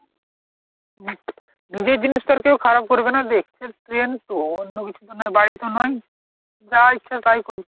নিজের জিনিস তো আর কেউ খারাপ করবে না যে train তো অন্য কিছু তো নয়, বাড়ি তো নয়। যা ইচ্ছে তাই করছে।